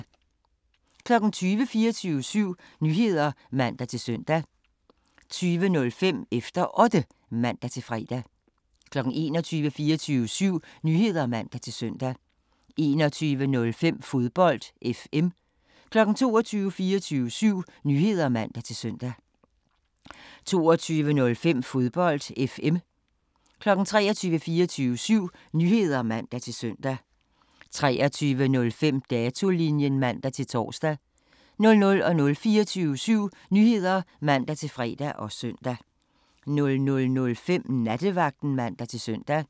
20:00: 24syv Nyheder (man-søn) 20:05: Efter Otte (man-fre) 21:00: 24syv Nyheder (man-søn) 21:05: Fodbold FM 22:00: 24syv Nyheder (man-søn) 22:05: Fodbold FM 23:00: 24syv Nyheder (man-søn) 23:05: Datolinjen (man-tor) 00:00: 24syv Nyheder (man-fre og søn) 00:05: Nattevagten (man-søn)